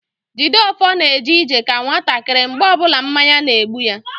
Jideofor na eje ije ka nwatakịrị mgbe ọbụla mmanya na-egbu ya